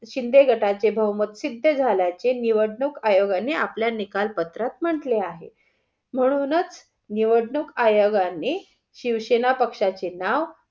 शिंदे गटाचे बहुमत सिद्ध झाल्याचे निवडणूक आयोगाने आपल्या निकाल पत्रात म्हंटले आहे, म्हणूनच निवडणूक आयोगाने शिवसेना पक्षाचे नाव